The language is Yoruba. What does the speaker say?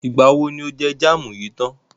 Ìgbà wo ni o jẹ jámù yìí tán?